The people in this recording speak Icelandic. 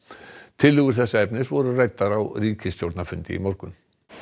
tillögur þessa efnis voru ræddar á ríkisstjórnarfundi í morgun